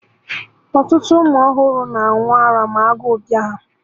Ọtụtụ ụmụ ọhụrụ na-aṅụ ara ma agụ bịa ha